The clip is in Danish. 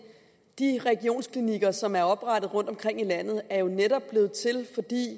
de regionsklinikker som er oprettet rundtomkring i landet er jo netop blevet til